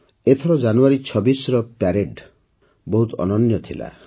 ଏଥର ଜାନୁଆରୀ ୨୬ର ପରେଡ୍ ବହୁତ ଅନନ୍ୟ ଥିଲା